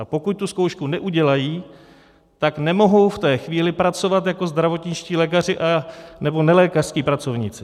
A pokud tu zkoušku neudělají, tak nemohou v té chvíli pracovat jako zdravotničtí lékaři nebo nelékařští pracovníci.